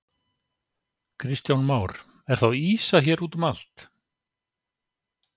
Kristján Már: Er þá ýsa hér útum allt?